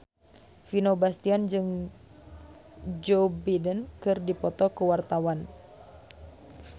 Vino Bastian jeung Joe Biden keur dipoto ku wartawan